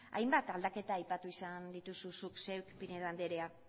hainbat aldaketa aipatu izan dituzu zuk zeuk pinedo anderea